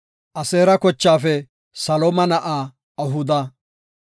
Aseera kochaafe Salooma na7aa Ahuda;